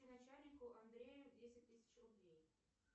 начальнику андрею десять тысяч рублей